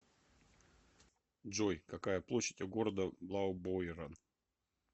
джой какая площадь у города блаубойрен